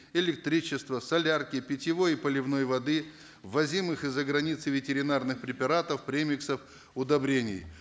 электричества солярки питьевой и поливной воды ввозимых из за границы ветеринарных препаратов премиксов удобрений